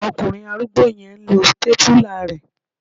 Ọkùnrin arúgbó yẹn n lo sítépúlà rẹ